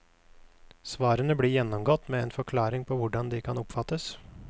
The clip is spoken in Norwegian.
Svarene blir gjennomgått med en forklaring på hvordan de kan oppfattes.